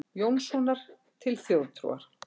Jónssonar til þjóðtrúar.